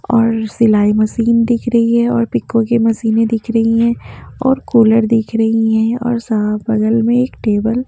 और सिलाई मशीन दिख रही है और पिकों की मशीनें दिख रही हैं और कूलर दिख रही हैं और सा बगल में एक टेबल --